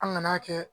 An ŋan'a kɛ